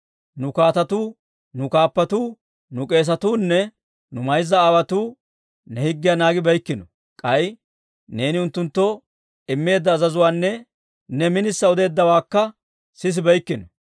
Nu kaatetuu, nu kaappatuu, nu k'eesatuu nne nu mayza aawotuu ne higgiyaa naagibeykkino; k'ay neeni unttunttoo immeedda azazuwaanne ne minissa odeeddawaakka sisibeykkino.